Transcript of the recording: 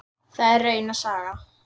Það er rauna saga.